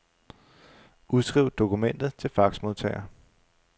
Udskriv dokumentet til faxmodtager.